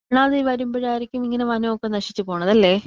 ഒന്നാമത് ഈ വരുമ്പഴായിരിക്കും ഇങ്ങനെ വനൊക്കെ നശിച്ച് പോണത് അല്ലെ?